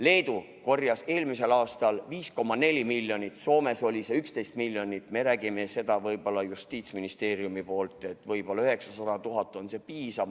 Leedu kogus eelmisel aastal 5,4 miljonit, Soomes oli see 11 miljonit, meie räägime, et võib-olla 900 000 eurot on piisav.